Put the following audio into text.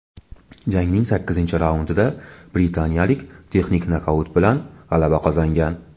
Jangning sakkizinchi raundida britaniyalik texnik nokaut bilan g‘alaba qozongan.